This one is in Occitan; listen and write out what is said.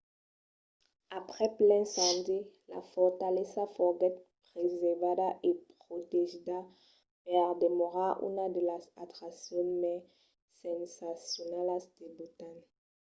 aprèp l'incendi la fortalesa foguèt preservada e protegida per demorar una de las atraccions mai sensacionalas de botan